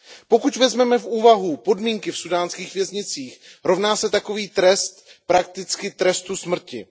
Pokud vezmeme v úvahu podmínky v súdánských věznicích, rovná se takový trest prakticky trestu smrti.